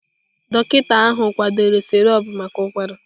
Dọkịta ahụ kwadoro sirop maka ụkwara.